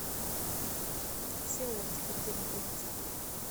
все оптика где находится